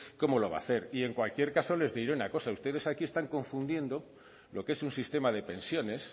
cómo lo va a hacer y en cualquier caso les diré una cosa ustedes aquí están confundiendo lo que es un sistema de pensiones